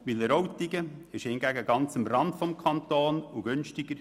Wileroltigen befindet sich hingegen ganz am Rande des Kantons und ist?